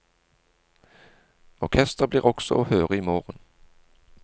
Orkesteret blir også å høre i morgen.